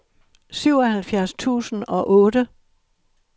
syvoghalvfjerds tusind og otte